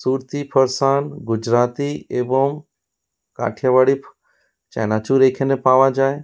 সূর্তি ফর্সান গুজরাতি এবং কাঠিয়া বাড়ি ফো চানাচুর এইখানে পাওয়া যায়।